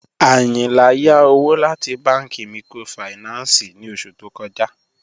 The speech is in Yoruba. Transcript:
Ayìnlá yá òwò láti bànki míkrófáìnánsì ní ọṣù tó kọ̀já